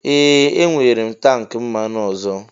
Ee! Enwere m tank mmanụ ọzọ.